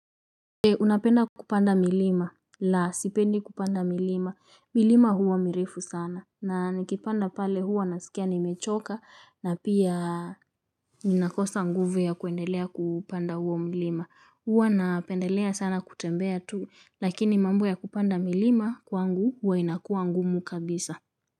Unapenda kupanda milima? La, sipendi kupanda milima. Milima huwa mirefu sana. Na nikipanda pale huwa nasikia nimechoka na pia ninakosa nguvu ya kuendelea kupanda huo mlima. Huwa napendelea sana kutembea tu, lakini mambo ya kupanda milima kwangu huwa inakua ngumu kabisa.